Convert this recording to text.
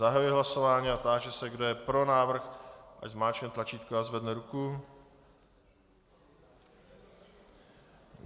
Zahajuji hlasování a táži se, kdo je pro návrh, ať zmáčkne tlačítko a zvedne ruku.